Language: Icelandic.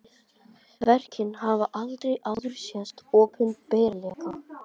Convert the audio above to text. Verkin hafa aldrei áður sést opinberlega